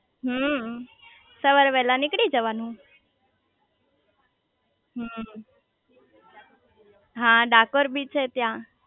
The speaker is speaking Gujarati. હમમમ સવારે વેલા નીકળી જવાનું હમમમ હા ડાકોર બી છે ત્યાં